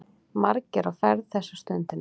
Margir á ferð þessa stundina.